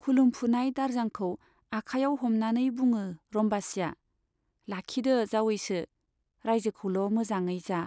खुलुमफुनाय दारजांखौ आखायाव हमनानै बुङो रम्बासीया, लाखिदो जावैसो, राइजोखौल' मोजाङै जा।